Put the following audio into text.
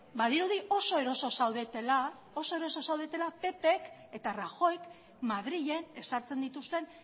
badirudi oso eroso zaudetela ppk eta rajoyk madrilen ezartzen dituzten